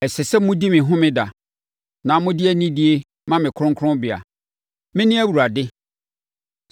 “ ‘Ɛsɛ sɛ modi me Homeda, na mode anidie ma me kronkronbea. Mene Awurade.